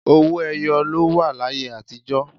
Owó ẹyọ ló wà láyé àtíjọ̀